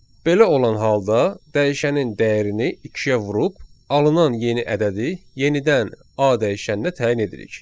Belə olan halda dəyişənin dəyərini ikiyə vurub, alınan yeni ədədi yenidən A dəyişəninə təyin edirik.